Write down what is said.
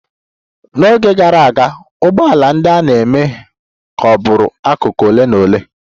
N'oge gara aga, ụgbọala ndị a na-eme ka ọ bụrụ akụkụ ole na ole.